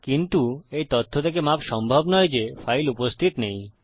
কিন্তু এই তথ্য থেকে মাফ সম্ভব নয় যে ফাইল উপস্থিত নেই